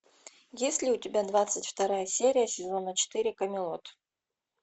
есть ли у тебя двадцать вторая серия сезона четыре камелот